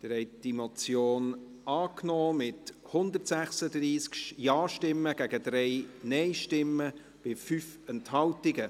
Sie haben die Motion angenommen, mit 136 Ja- gegen 3 Nein-Stimmen bei 5 Enthaltungen.